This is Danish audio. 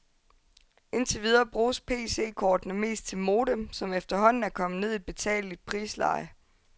Indtil videre bruges PCkortene mest til modem, som efterhånden er kommet ned i et betaleligt prisleje.